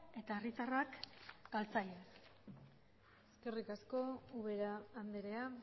eta herritarrak galtzaile eskerrik asko ubera andrea